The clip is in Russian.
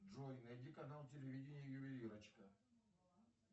джой найди канал телевидения ювелирочка